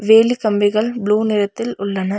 வேலி கம்பிகள் ப்ளூ நெறத்தில் உள்ளன.